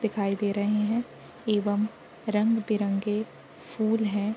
दिखाई दे रहे है एवं रंग-बिरंगे फूल है।